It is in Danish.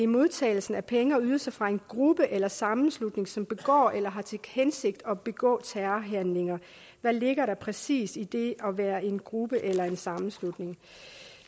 modtagelse af penge og ydelser fra en gruppe eller sammenslutning som begår eller har til hensigt at begå terrorhandlinger hvad ligger der præcis i det at være en gruppe eller en sammenslutning